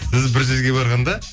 сіз бір жерге барғанда